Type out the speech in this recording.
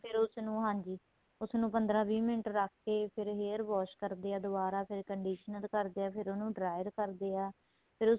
ਫ਼ੇਰ ਉਸ ਨੂੰ ਹਾਂਜੀ ਉਸ ਨੂੰ ਪੰਦਰਾਂ ਵੀਹ ਮਿੰਟ ਰੱਖਕੇ ਫ਼ੇਰ hair wash ਕਰਦੇ ਏ ਦੁਆਰਾ ਫ਼ੇਰ conditioner ਕਰਦੇ ਏ ਫ਼ੇਰ ਉਹਨੂੰ dryer ਕਰਦੇ ਏ ਫ਼ੇਰ